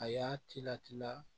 A y'a tila tila